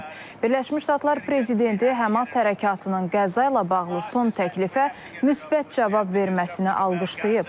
Birləşmiş Ştatlar prezidenti Həmas hərəkatının Qəzza ilə bağlı son təklifə müsbət cavab verməsini alqışlayıb.